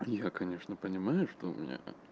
я конечно понимаю что у меня